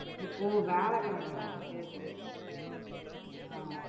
ஓ வியாழக்கிழமை நாளா சரி சரி அஹ்